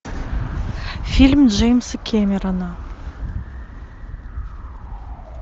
фильм джеймса кемерона